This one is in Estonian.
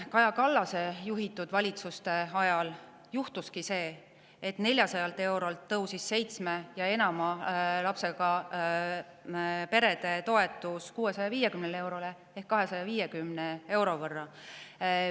Kaja Kallase juhitud valitsuste ajal juhtuski see, et 400 eurolt tõusis seitsme ja enama lapsega perede toetus 650 eurole ehk 250 euro võrra.